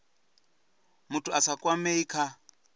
muthu a sa kwamei kha